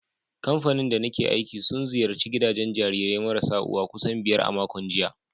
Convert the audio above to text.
Kamfanin da nake aiki sun ziyarci gidajen jarirai marasa uwa kusan biyar a makon jiya.